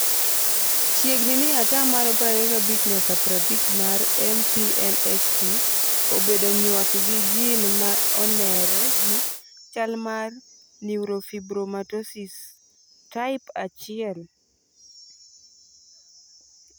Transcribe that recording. Chiegni ni ataa malo 25 nyaka 50 mar MPNST obedo nyuak gi gene ma on'ere gi chalmar neurofibromatosis type 1?